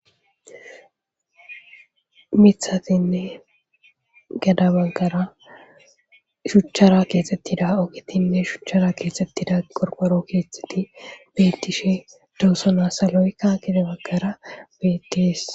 miiththatinne geda baggara shuchchara keexxettida ogitinne shuchchara keexxettida qorqqoro keexeti bettishe doosona. saloykka gede baggara bettes.